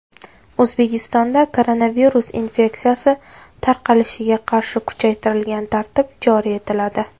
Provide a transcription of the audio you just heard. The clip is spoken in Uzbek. O‘zbekistonda koronavirus infeksiyasi tarqalishiga qarshi kuchaytirilgan tartib joriy etiladi.